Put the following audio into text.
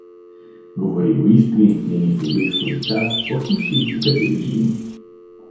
Govori o Istri, njenih ljudeh skozi čas, o hiši, v kateri živim.